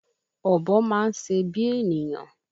Ọ̀bọ máa ń se bí ènìyàn